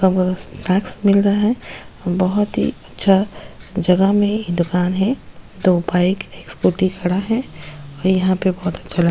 snacks मिल रहा है बहुत ही अच्छा जगह मैं दुकान है दो बाइक स्कूटी खड़ा है और यहाँ पे बहुत अच्छा --